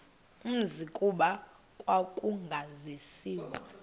umzi kuba kwakungasaziwa